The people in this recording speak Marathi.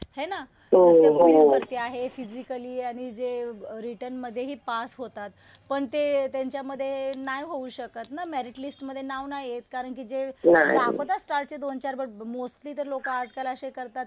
हो ना जसं पोलीस भरती आहे. जे फिजिकली आणि रिटन मधेही पास होतात. पण ते त्यांच्यामध्ये नाही होऊ शकत ना. मेरिट लिस्टमध्ये नाव नाही येत. कारण कि जे दाखवतात स्टार्टचे दोन-चार पण मोस्टली तर लोकं आजकाल असे करतात